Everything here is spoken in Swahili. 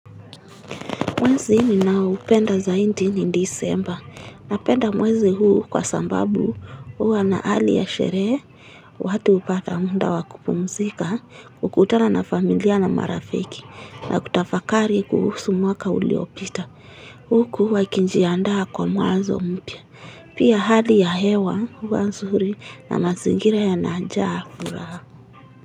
Mwezi ninaopenda zaidi ni December. Napenda mwezi huu kwa sababu hua na hali ya sherehe, watu hupata muda wa kupumzika, kukutana na familia na marafiki na kutafakari kuhusu mwaka uliopita. Huku wakijiandaa kwa mwanzo mpya. Pia hali ya hewa hua nzuri na mazingira yanajaa furaha.